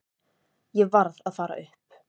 Ég varð að fara upp.